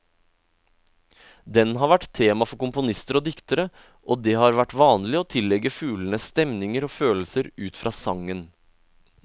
Den har vært tema for komponister og diktere, og det har vært vanlig å tillegge fuglene stemninger og følelser ut fra sangen.